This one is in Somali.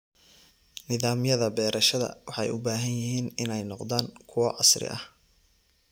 Nidaamyada beerashada waxay u baahan yihiin inay noqdaan kuwo casri ah.